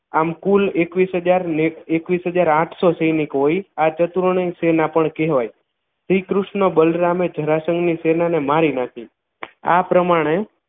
આમ કુલ એકવીશ હજાર ને એકવીશ હજાર આઠસો સૈનિક હોય આ ચત્રોની સેના પણ કહેવાય શ્રીકૃષ્ણ બલરામ જરાસન ની સેના ને મારી નાખી આ પ્રમાણે